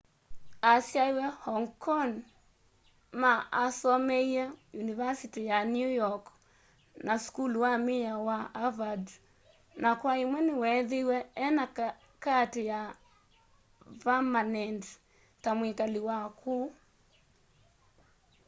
asyaiwe hong kong ma asomeie univasiti ya new york na sukulu wa miao wa harvard na kwa imwe niweethiiwe ena kaati ya vamanendi ta mwikali wa kuu